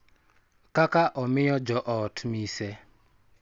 Kaka omiyo jo ot mise.